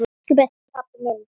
Elsku besti pabbi minn.